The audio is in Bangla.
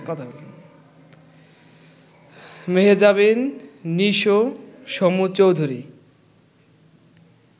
মেহজাবিন, নিশো, সমু চৌধুরী